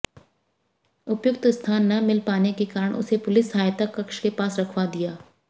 उपयुक्त स्थान न मिल पाने के कारण उसे पुलिस सहायता कक्ष के पास रखवा दिया